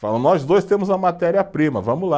Falam, nós dois temos a matéria-prima, vamos lá.